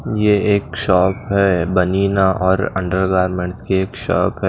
ये एक शॉप है बनीना और अंडरगारमेंट्स की एक शॉप है।